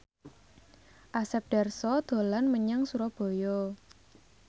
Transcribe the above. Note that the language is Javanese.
Asep Darso dolan menyang Surabaya